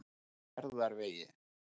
Fjarðarvegi